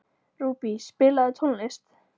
Rúbý, spilaðu tónlist.